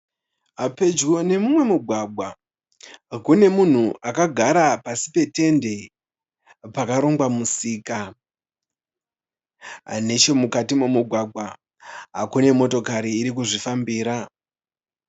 Pedyo nemumwe mugwagwa kune munhu akagara pasi petende, pakarongwa musika. Nechemukati memugwagwa kune motokari iri kuzvifambira.